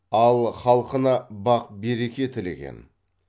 ал халқына бақ береке тілеген